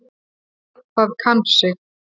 Það kann sig.